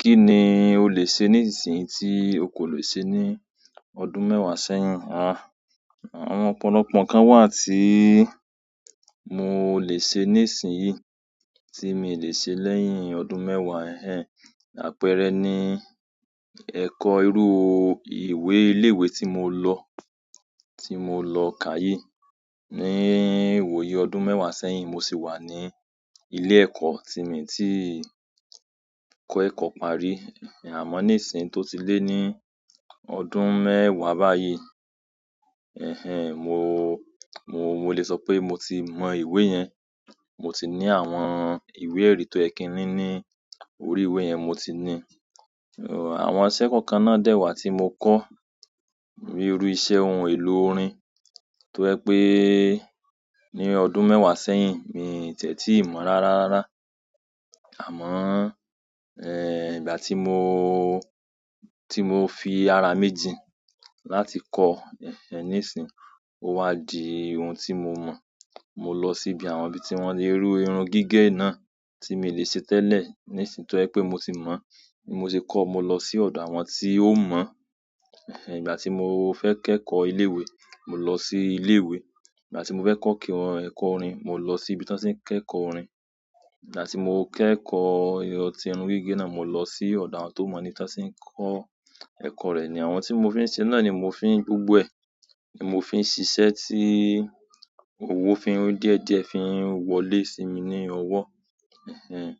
Kí ni o lè ṣe nísinsìnyí tí o kò lè ṣe ní ọdún mẹ́wàá sẹ́yìn? Àh, àwọn ọ̀pọ̀lọpọ̀ nǹkan wà tíì mó lè ṣe nísinsìnyí tí mi ò lè ṣe lẹ́yìn ọdún mẹ́wàá. Ẹ̀hẹ̀n, àpẹẹrẹ ni ẹ̀kọ́ irú ìwé ilé-ìwé tí mo lọ, tí mo lọ ká yí. Ní ìwòyi ọdún mẹ́wàá sẹ́yìn, mo sì wà ní ilé-ẹ̀kọ́ tì mí tí ì kọ́ ẹ̀kọ́ parí. Ẹ̀hẹ̀n, àmọ́ nísinsìnyí tó ti lé ní ọdún mẹ́wàá báyìí, ẹ̀hẹ̀n, mo, mo, mo lè sọ pé mo ti mọ ìwé yẹn. Mo ti ní àwọn ìwé èrí tó yẹ kin ní ni orí ìwé yẹn, mo ti ní i. Àwọn iṣẹ́ kọ̀ọ̀kan náà dẹ́ wá tí mo kọ́ bi iru iṣẹ́ ohun èlò orin. Tó jẹ́ pé ní ọdún mẹ́wàá sẹ́yìn, mi ò tẹ́ tí mọ̀ rárá rárá. Àmọ́, ẹ́, ìgbà tí mooo, tí mo fi ara mi jin láti kọ́, ẹ̀hẹ̀n, nísinsìnyí ó wá di ohun tí mo mọ̀. Mo lọ sí ibi àwọn ibí tí wọ́n lè rú irun gígẹ̀ náà tí mi ò lè ṣe tẹ́lẹ̀. Nísinsìnyí tó ẹ́ pé mo ti mọ̀, mo ti kọ́, mo lọ sí ọ̀dọ̀ àwọn tí ó mọ̀. Ẹ̀hẹ̀n, ìgbà tí mo fẹ́ kẹ́kọ̀ọ́ ilé-ìwé, mo lọ sí ilé-ìwé. Ìgbà ti mo fẹ kekọ orin, mo lọ sibi tan tin kekọ orin. Ìgbà tí mo kẹ́kọ̀ọ́ irun gígẹ̀ náà, mo lọ sí ọ̀dọ̀ àwọn tó mọ̀ ní tàn sì ń kọ́ ẹ̀kọ́ rẹ̀. Àwọn tí mo fi ń ṣe náà ni mo fi ń gbogbo ẹ, ni mo fi ń ṣiṣẹ́ tí òwò fi ń díẹ̀díẹ̀ fi ń wọlé sí mi ní ọwọ́. Ẹ̀hẹ̀n,